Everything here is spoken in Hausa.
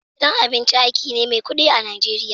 Gidan abinci aiki ne mai kudi a'Nijeriya.